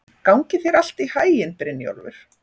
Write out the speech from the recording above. Gangi þér allt í haginn, Brynjólfur.